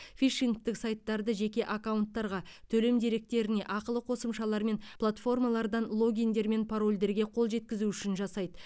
фишингтік сайттарды жеке аккаунттарға төлем деректеріне ақылы қосымшалар мен платформалардан логиндер мен парольдерге қол жеткізу үшін жасайды